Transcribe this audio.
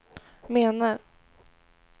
menar